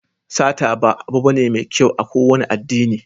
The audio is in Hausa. Sata ba abu bane mai kyau a kowane addini.